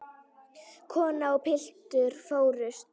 Kona og piltur fórust.